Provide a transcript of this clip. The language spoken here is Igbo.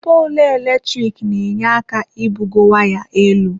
Poolụ eletrik n'enye aka ibugo waya elu.